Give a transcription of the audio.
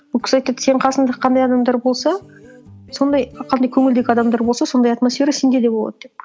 ол кісі айтады сенің қасында қандай адамдар болса сондай қандай көңілдегі адамдар болса сондай атмосфера сенде де болады деп